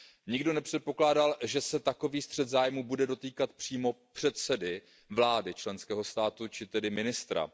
Nikdo nepředpokládal, že se takový střet zájmů bude dotýkat přímo předsedy vlády členského státu či tedy ministra.